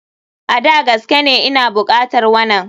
A,Da gaskene Ina bukatar wanan.